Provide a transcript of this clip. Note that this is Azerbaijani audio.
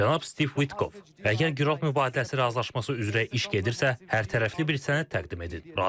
Cənab Stiv Vitkov, əgər girov mübadiləsi razılaşması üzrə iş gedirsə, hərtərəfli bir sənəd təqdim edin.